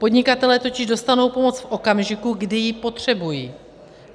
Podnikatelé totiž dostanou pomoc v okamžiku, kdy ji potřebují.